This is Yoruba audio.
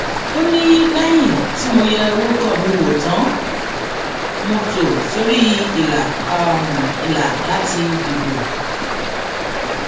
ó ní lẹyìn tí mo yẹ orúkọ mi wò tán mo tò sórí ìlà ìlà láti dìbò